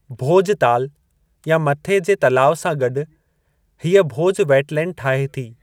भोजताल या मथे जे तलाउ सां गॾु, हीअ भोज वेटलैंड ठाहे थी।